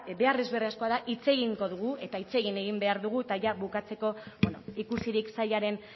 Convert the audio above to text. behar beharrezkoa da hitz egingo dugu eta hitz egin egin behar dugu eta jada bukatzeko ikusirik sailaren